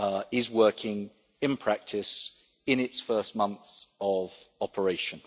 is working in practice in its first months of operation.